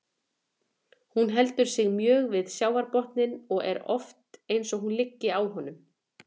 Hún heldur sig mjög við sjávarbotninn og er oft eins og hún liggi á honum.